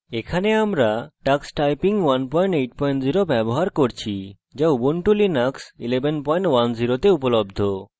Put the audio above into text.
এখানে আমরা ubuntu linux 1110 we tux typing 180 ব্যবহার করছি